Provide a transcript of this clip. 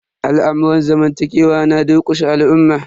Al'amurran zamantakewa na durƙushe al'umma.